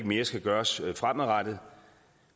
mere skal gøres fremadrettet